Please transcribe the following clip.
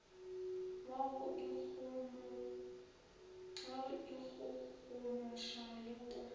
wa go ikgogomoša le go